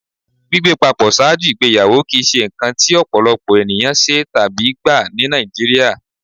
Gbigbé pàpọ̀ ṣáàjú igbèyàwó kí í ṣé nkàn tí ọ̀pọ̀lọ̀pọ̀ ènìyàn ṣé tàbí gbà ní Nàìjíríà.